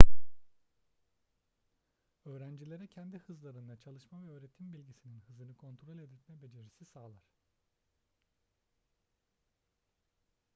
öğrencilere kendi hızlarında çalışma ve öğretim bilgisinin hızını kontrol etme becerisini sağlar